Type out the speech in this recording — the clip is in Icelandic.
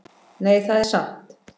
Nei, það er satt.